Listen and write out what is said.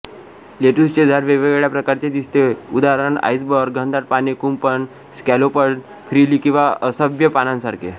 लेट्युसचे झाड वेगवेगळ्या प्रकारचे दिसते उदा आईसबर्ग घनदाट पाने कुंपण स्कॅलोपड फ्रिली किंवा असभ्य पानांसारखे